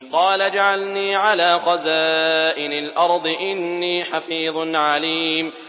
قَالَ اجْعَلْنِي عَلَىٰ خَزَائِنِ الْأَرْضِ ۖ إِنِّي حَفِيظٌ عَلِيمٌ